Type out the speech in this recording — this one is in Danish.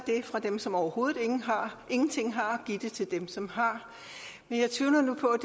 fra dem som overhovedet ingenting har og give til dem som har men jeg tvivler nu på